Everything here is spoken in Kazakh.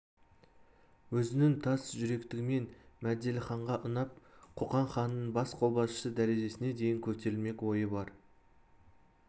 өзінің тас жүректігімен мәделіханға ұнап қоқан ханының бас қолбасшысы дәрежесіне дейін көтерілмек ойы бар